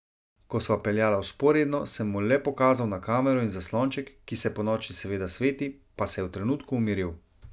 Ko sva peljala vzporedno, sem mu le pokazal na kamero in zaslonček, ki se ponoči seveda sveti, pa se je v trenutku umiril.